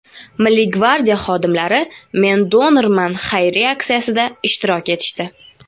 Milliy gvardiya xodimlari "Men-donorman" xayriya aksiyasida ishtirok etishdi!.